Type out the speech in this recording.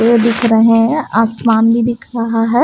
पेड़ दिख रहे हैं आसमान भी दिख रहा है।